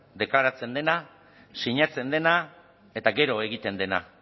deklaratzen dena sinatzen dena eta gero egiten dena